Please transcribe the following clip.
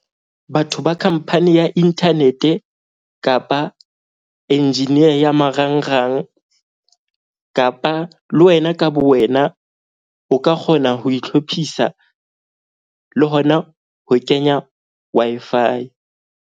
Batho ba khampani ya internet-e kapa engineer ya marangrang kapa le wena ka bo wena. O ka kgona ho itlhophisa le hona ho kenya Wi-Fi.